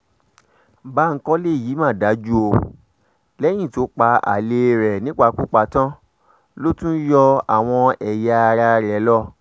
báńkólé yìí mà dájú o lẹ́yìn tó pa alẹ́ rẹ̀ nípakúpa tán ló tún yọ àwọn ẹ̀yà ara rẹ̀ lọ